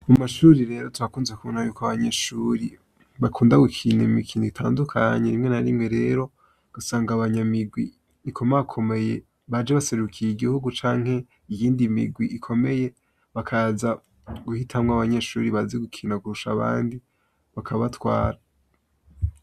Mu mashuri rero twakunze kubona yuko abanyeshuri bakunda gukina imikino itandukanye. Rimwe na rimwe rero ugusanga abanyamirwi ikomakomeye, baje baserukiye igihugu canke iyindi mirwi ikomeye , bakaza guhitamwo abanyeshuri bazi gukina kurusha abandi, bakabatwara.